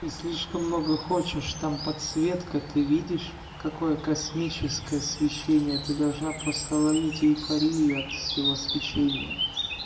и слишком много хочешь там подсветка ты видишь какое космическое свечение ты должна просто ловить эйфорию от сего свечения